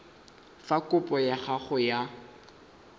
fa kopo ya gago ya